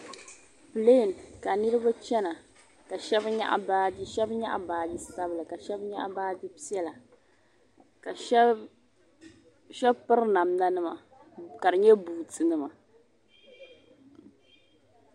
Plɛɛn ka niriba chana ka shaba nyaɣi baaji shaba nyaɣi baaji sabila ka shaba nyaɣi baaji piɛlla ka shaba piri namda nima ka di nyɛ buuti nima.